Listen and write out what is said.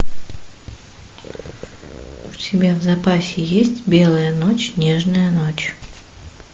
у тебя в запасе есть белая ночь нежная ночь